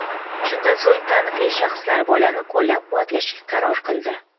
Shundan so‘ng taniqli shaxslar bolani qo‘llab-quvvatlashga qaror qildi.